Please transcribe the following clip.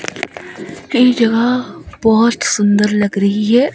ई जगह बहोत सुंदर लग रही है।